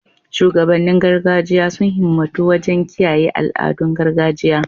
Shugabannin gargajiya sun himmatu wajen kiyaye al'adun gargajiya